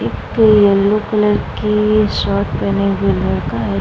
एक ये yellow colour की शर्ट पेहेने हुए लड़का है।